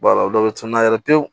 dɔw bɛ cunna yɛrɛ pewu